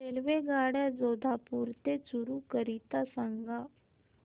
रेल्वेगाड्या जोधपुर ते चूरू करीता सांगा